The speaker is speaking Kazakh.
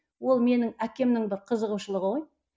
ол менің әкемнің бір қызығушылығы ғой